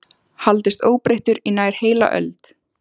haldist óbreyttur í nær heila öld.